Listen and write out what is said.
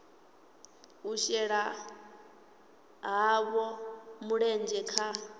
u shela havho mulenzhe kha